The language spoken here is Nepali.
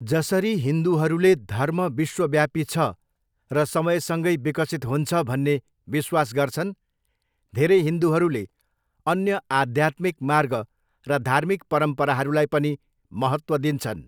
जसरी हिन्दुहरूले धर्म विश्वव्यापी छ र समयसँगै विकसित हुन्छ भन्ने विश्वास गर्छन्, धेरै हिन्दुहरूले अन्य आद्यात्मिक मार्ग र धार्मिक परम्पराहरूलाई पनि महत्त्व दिन्छन्।